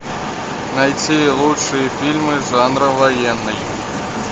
найти лучшие фильмы жанра военный